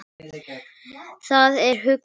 Það er huggun.